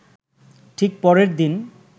ঠিক পরের দিন